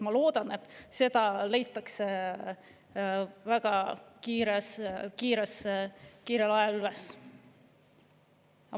Ma loodan, et seda leitakse väga kiirel ajal üles.